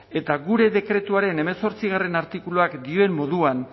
eta gure dekretuaren hemezortzigarrena artikuluak dioen moduan